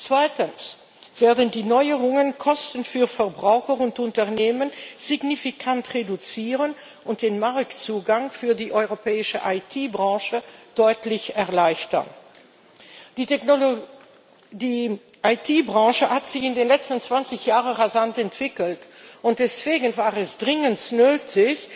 Zweitens werden die Neuerungen die Kosten für Verbraucher und Unternehmen signifikant reduzieren und den Marktzugang für die europäische IT Branche deutlich erleichtern. Die IT Branche hat sich in den letzten 20 Jahren rasant entwickelt, und deswegen war es dringend nötig,